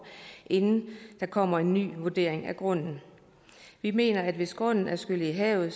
inden der kommer en ny vurdering af grunden vi mener at hvis grunden er skyllet i havet